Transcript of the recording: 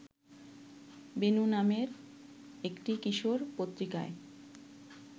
বেণু নামে একটি কিশোর পত্রিকায়